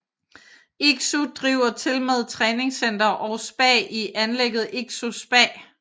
Iksu driver tilmed træningscenter og spa i anlægget Iksu spa